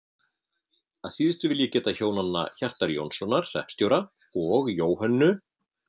Að síðustu vil ég geta hjónanna Hjartar Jónssonar hreppstjóra og Jóhönnu